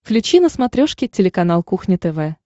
включи на смотрешке телеканал кухня тв